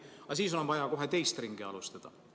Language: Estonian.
Aga siis on vaja kohe teist ringi alustada.